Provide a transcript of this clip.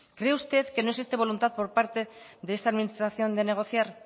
cree usted que no existe voluntad por parte de esta administración de negociar